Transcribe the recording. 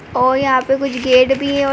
और यहाँ पे कुछ गेट भी है औ --